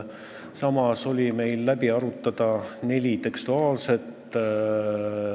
Samas oli meil läbi arutada neli tekstuaalset teemat.